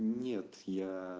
нет я